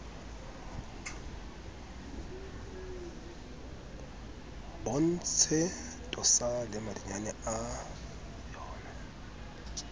bontshe tosa le madinyane a